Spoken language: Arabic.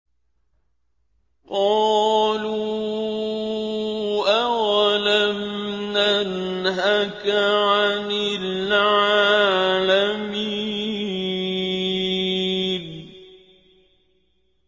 قَالُوا أَوَلَمْ نَنْهَكَ عَنِ الْعَالَمِينَ